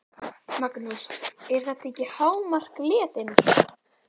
Magnús: Er þetta ekki hámark letinnar?